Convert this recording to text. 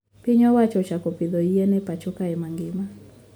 Piny owacho ochako pidho yien e pacho kae mangima